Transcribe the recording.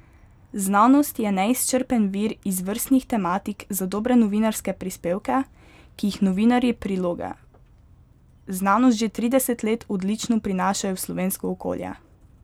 Znanost je neizčrpen vir izvrstnih tematik za dobre novinarske prispevke, ki jih novinarji priloge Znanost že trideset let odlično prinašajo v slovensko okolje.